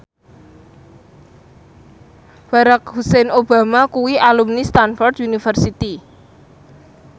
Barack Hussein Obama kuwi alumni Stamford University